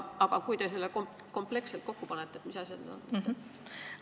Aga kui te selle kompleksselt kokku panete, siis mis asjad need on?